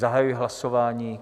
Zahajuji hlasování.